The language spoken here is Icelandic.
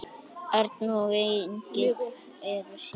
Erna og Engill eru síðust.